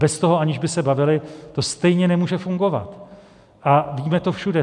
Bez toho, aniž by se bavili, to stejně nemůže fungovat, a vidíme to všude.